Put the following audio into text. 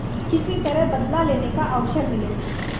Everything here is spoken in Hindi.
किसी तरह बदला लेने का अवसर मिले